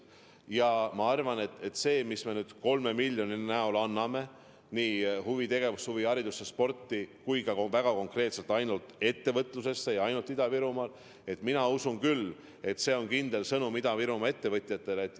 Ja ma arvan, et see, mis me nüüd 3 miljoni näol anname nii huvitegevusse, huviharidusse, sporti kui ka väga konkreetselt ainult ettevõtlusesse ja ainult Ida-Virumaale – mina usun küll, et see on kindel sõnum Ida-Virumaa ettevõtjatele.